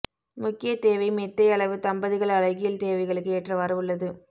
முக்கிய தேவை மெத்தை அளவு தம்பதிகள் அழகியல் தேவைகளுக்கு ஏற்றவாறு உள்ளது